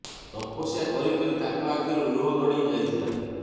ତପସ୍ୟା କରି କରି ତାଙ୍କ ଆଖିରୁ ଲୁହ ଗଡି ଯାଇଥିଲା